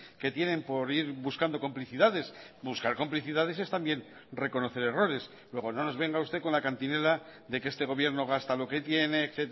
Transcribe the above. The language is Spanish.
que tienen por ir buscando complicidades buscar complicidades es también reconocer errores luego no nos venga usted con la cantinela de que este gobierno gasta lo que tiene